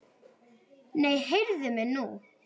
Nei, heyrðu mig nú!